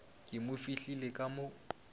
ke mo fihlile ka mo